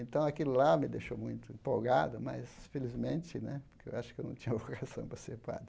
Então aquilo lá me deixou muito empolgado, mas felizmente né, porque eu acho que eu não tinha vocação para ser padre.